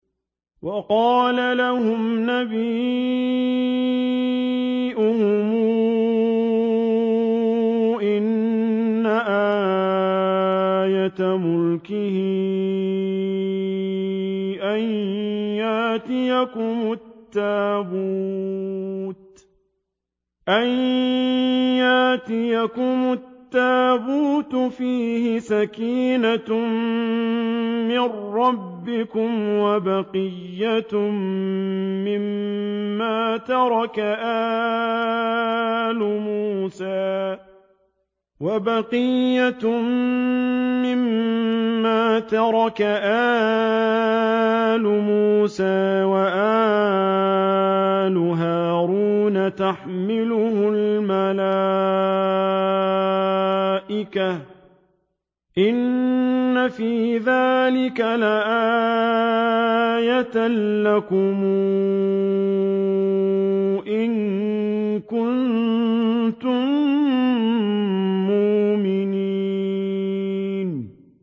وَقَالَ لَهُمْ نَبِيُّهُمْ إِنَّ آيَةَ مُلْكِهِ أَن يَأْتِيَكُمُ التَّابُوتُ فِيهِ سَكِينَةٌ مِّن رَّبِّكُمْ وَبَقِيَّةٌ مِّمَّا تَرَكَ آلُ مُوسَىٰ وَآلُ هَارُونَ تَحْمِلُهُ الْمَلَائِكَةُ ۚ إِنَّ فِي ذَٰلِكَ لَآيَةً لَّكُمْ إِن كُنتُم مُّؤْمِنِينَ